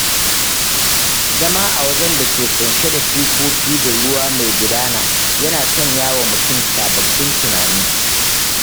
Zama a wajen da ke ƙunshe da shukoki da ruwa mai gudana yana sanya wa mutum sababbin tunani